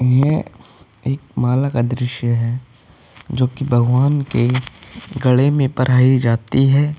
यह एक माला का दृश्य है जो कि भगवान के गले में पहराइ जाती है।